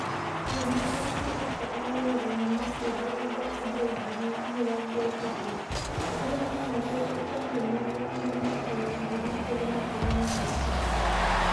We na aruti ake a wĩra nĩ maateithĩrĩirie andũ ngiri mĩrongo ĩtatũ. Arĩa maanyitĩtwo kĩa hinya gũkinya mwaka wa 2013, .